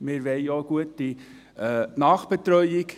Wir wollen auch eine gute Nachbetreuung.